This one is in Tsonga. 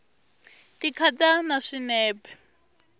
ti khata na swinepe